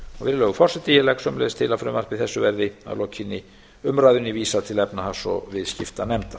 virðulegur forseti ég legg sömuleiðis til að frumvarpi þessu verði að lokinni umræðunni vísað til efnahags og viðskiptanefndar